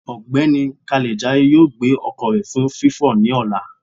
Ọgbẹni Kalejaye yóò gbe ọkọ rẹ fun fifọ ni ọla.